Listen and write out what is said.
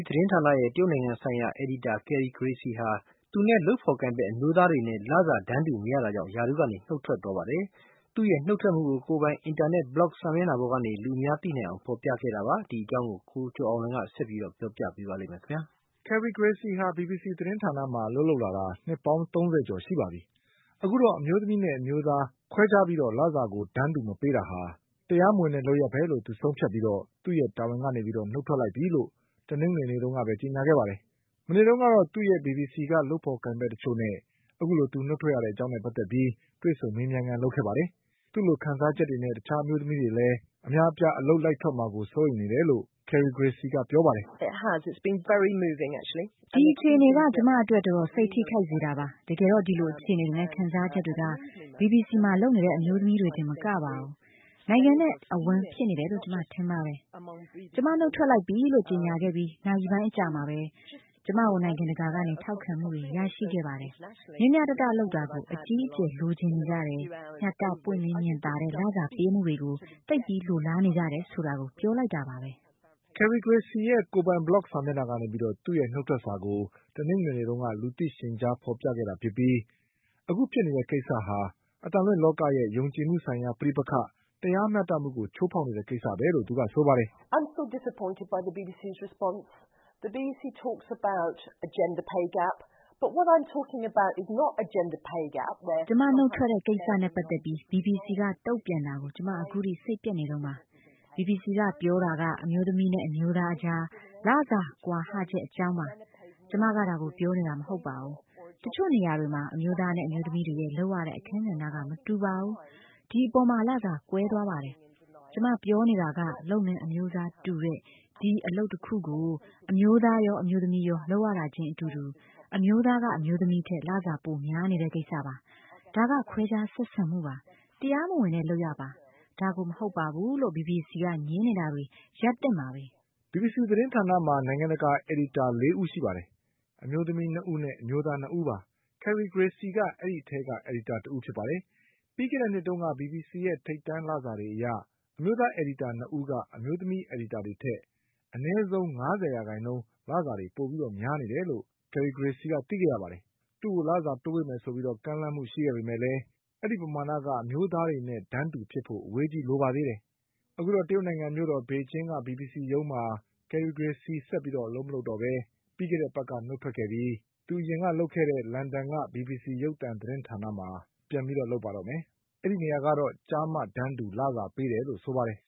သတင်းဌာနရဲ့ တရုတ်နိုင်ငံဆိုင်ရာ အယ်ဒီတာ Carrie Gracie ဟာ သူနဲ့လုပ်ဖေါ်ကိုင်ဖက်အမျိုးသားတွေနဲ့ လစာ တန်းတူမရတာကြောင့် ရာထူးကနေနုတ်ထွက်သွားပါတယ်။ သူ့ရဲ့နုတ်ထွက်မှုကို သူ့ကိုယ်ပိုင် အင်တာနက် ဘလော့ဂ် စာမျက်နှာပေါ်ကနေ လူအများသိနိုင်အောင်ဖေါ်ပြခဲ့တာပါ။ ဒီအကြောင်း ကိုကျော်အောင်လွင်က ဆက်ပြီးပြောပြပါလိမ့် မယ်။ Carrie Gracie ဟာ ဘီဘီစီအသံလွှင့်ဌာနမှာအလုပ်လုပ်လာတာ နှစ်ပေါင်း၃၀ကျော်ရှိပါပြီ။ အခုတော့ အမျိုးသမီးနဲ့ အမျိုးသား ခွဲခြားပြီး လစာကိုတန်းတူမပေးတာဟာ တရားမဝင်တဲ့လုပ်ရပ်ပဲလို့ဆုံးဖြတ်ပြီး သူ့ရဲ့တာဝန်ကနေနုတ် ထွက်လိုက်ပြီလို့ တနင်္ဂနွေနေ့က ကြေညာခဲ့ပါတယ်။ မနေ့တုန်းကတော့ ဘီဘီစီက သူ့ရဲ့လုပ်ဖေါ်ကိုင်ဖက်တချို့နဲ့ အခုလိုသူ နုတ်ထွက်ရ တဲ့အကြောင်းနဲ့ပတ်သက်လို့ တွေ့ဆုံမေးမြန်းခန်းလုပ်ခဲ့ပါတယ်။ သူ့လိုခံစားချက်တွေနဲ့တခြား အမျိုးသမီးတွေလည်း အများအပြားအလုပ်လိုက်ထွက်မှာကို စိုးရိမ်နေတယ်လို့ Carrie Gracieကပြောပါတယ်။ "ဒီအခြေအနေက ကျမအတွက်တော်တော် စိတ်ထိခိုက်စေတာပါ။ တကယ်တော့ ဒီလိုအခြေအနေတွေနဲ့ခံစားချက် တွေက ဘီဘီစီမှာလုပ်နေတဲ့အမျိုးသမီးတွေတင်မကပါဘူး။ နိုင်ငံနဲ့အဝှမ်းဖြစ်နေတယ်လို့ကျမ ထင်ပါတယ်။ ကျမ နုတ်ထွက်လိုက်ပြီလို့ကြေညာခဲ့ပြီးနာရီပိုင်းအကြာမှာပဲ ကျမကိုနိုင်ငံတကာကနေထောက်ခံမှုတွေရှိခဲ့ပါတယ်။ ဒီက ဘာကိုပြောနေသလဲဆိုရင် မျှမျှတတလုပ်တာကို အကြီးအကျယ်လိုချင်နေကြတယ်၊ မျှတပြီးပွင့်လင်းမြင်သာတဲ့ လစာပေးမှုတွေကို သိပ်ပြီးလိုလားနေကြတယ်ဆိုတာကိုပြောလိုက်တာပါပဲ။" Carrie Gracieရဲ့ ကိုယ်ပိုင်ဘလော့ဂ်စာမျက်နှာကနေ သူ့ရဲ့နုတ်ထွက်စာကို လူသိရှင်ကြားဖေါ်ပြခဲ့တာဖြစ်ပြီး အခုဖြစ် နေတဲ့ကိစ္စက အသံလွှင့်လောကရဲ့ ယုံကြည်မှုဆိုင်ရာ ပဋိပက္ခ၊ တရားမျှတမှုကိုချိုးဖေါက်နေတဲ့ကိစ္စပဲလို့သူကဆိုပါတယ်။ "ကျမနုတ်ထွက်တဲ့ကိစ္စနဲ့ပတ်သက်ပြီး ဘီဘီစီကတုံ့ပြန်တာကို ကျမအခုထိစိတ်ပျက်နေတုန်းပါ။ ဘီဘီစီကပြောတာက အမျိုးသမီးနဲ့အမျိုးသားအကြား လစာကွာဟချက်အကြောင်းပါ။ ကျမက ဒါကိုပြောနေတာမဟုတ်ပါဘူး။ တချို့နေရာတွေ မှာ အမျိုးသားနဲ့အမျိုးသမီးတွေရဲ့လုပ်ရတဲ့အခန်းကဏ္ဍကမတူပါဘူး။ ဒီအပေါ်မှာ လစာကွဲသွားပါတယ်။ ကျမပြောနေတာ က လုပ်ငန်းအမျိုးအစားတူတဲ့ ဒီအလုပ်တခုကိုပဲ အမျိုးသားရောအမျိုးသမီရော လုပ်ရတာခြင်းအတူတူ အမျိုးသားက အမျိုးသမီးထက် လစာပိုများနေတဲ့ကိစ္စပါ။ ဒါက ခွဲခြားဆက်ဆံမှုပါ။ တရားမဝင်တဲ့လုပ်ရပ်ပါ။ ဒါကို မဟုတ်ပါဘူးလို့ ဘီဘီစီက ငြင်းနေတာတွေ ရပ်သင့်ပါပြီ။" ဘီဘီစီသတင်းဌာနမှာ နိုင်ငံတကာအယ်ဒီတာ ၄ဦးရှိပါတယ်။ အမျိုးသမီး ၂ဦးနဲ့ အမျိုးသား၂ဦးပါ။ Carrie Gracie ကအဲဒီ အထဲက အယ်ဒီတာတဦးပါ။ ပြီးခဲ့တဲ့နှစ်ကဘီဘီစီရဲ့ ထိပ်တန်းလစာတွေအရ အမျိုးသားအယ်ဒီတာ၂ဦးက အမျိုးသမီး အယ်ဒီတာတွေထက် အနည်းဆုံးငါးဆယ်ရာခိုင်နှုန်း လစာတွေပိုများနေတယ်လို့ Carrie Gracieကသိခဲ့ရပါတယ်။ သူ့ကို လစာတိုးပေးမယ်ဆိုပြီး ကမ်းလှမ်းခဲ့ပေမဲ့လည်း အဲဒီပမာဏက အမျိုးသားတွေနဲ့တန်းတူဖြစ်ဖို့အဝေးကြီးလိုပါသေးတယ်။ အခုတော့ တရုတ်နိုင်ငံမြို့ တော် ပေကျင်းက ဘီဘီစီရုံးမှာ Carrie Gracie ဆက်မလုပ်တော့ပဲပြီးခဲ့တဲ့အပတ်ကနုတ်ထွက်ခဲ့ပြီးသူအရင် ကလုပ်ခဲ့တဲ့ လန်ဒန်က ဘီဘီစီရုပ်သံသတင်းဌာနမှာ ပြန်ပြီးလုပ်ပါတော့မယ်။ အဲဒီနေရာကတော့ ကျားမ တန်းတူလစာပေးတယ်လို့ဆိုပါတယ်